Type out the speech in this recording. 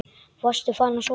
Varstu farin að sofa?